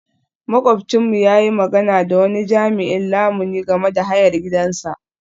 Makwabcinmu ya yi magana da wani jami'in lamuni game da hayar gidansa.